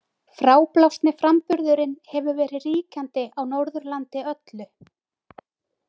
Fráblásni framburðurinn hefur verið ríkjandi á Norðurlandi öllu.